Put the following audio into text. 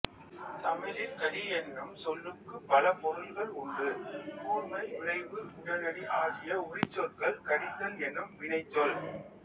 தமிழில் கடி எனும் சொல்லுக்குப் பல பொருள்கள் உண்டு கூர்மை விரைவு உடனடி ஆகிய உரிச்சொற்கள் கடித்தல் எனும் வினைச்சொல்